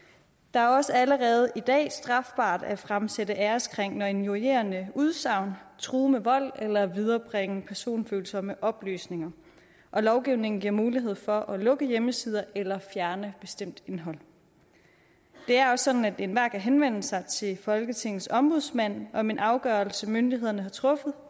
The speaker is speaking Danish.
er også allerede i dag strafbart at fremsætte æreskrænkende og injurierende udsagn true med vold eller viderebringe personfølsomme oplysninger lovgivningen giver mulighed for at lukke hjemmesider eller fjerne bestemt indhold det er også sådan at enhver kan henvende sig til folketingets ombudsmand om en afgørelse som myndighederne har truffet